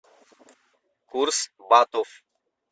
курс батов